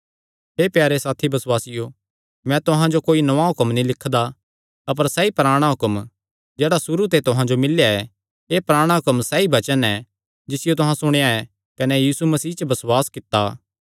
हे प्यारे साथी बसुआसियो मैं तुहां जो कोई नौआं हुक्म नीं लिखदा अपर सैई पराणा हुक्म जेह्ड़ा सुरू ते तुहां जो मिल्लेया ऐ एह़ पराणा हुक्म सैई वचन ऐ जिसियो तुहां सुणेया ऐ कने यीशु मसीह च बसुआस कित्ता